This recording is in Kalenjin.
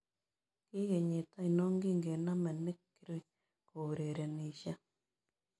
KIi kenyit ainon kin konome nick kirui kourerenisie